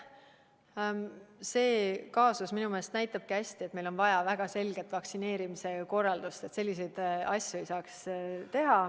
See kaasus minu meelest näitabki hästi, et meil on vaja väga selget vaktsineerimise korraldust, et selliseid asju ei saaks teha.